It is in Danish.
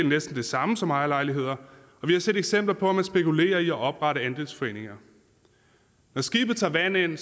næsten det samme som ejerlejligheder og vi har set eksempler på at man spekulerer i at oprette andelsforeninger når skibet tager vand ind